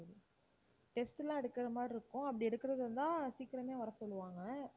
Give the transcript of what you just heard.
test எல்லாம் எடுக்கிற மாதிரி இருக்கும் அப்படி எடுக்கிறதா இருந்தா சீக்கிரமே வரச் சொல்லுவாங்க.